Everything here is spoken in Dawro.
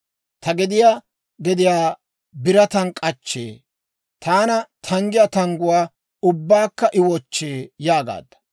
Ta gediyaa gediyaa birataan k'achchee; taani tanggiyaa tangguwaa ubbaakka I wochchee› yaagaadda.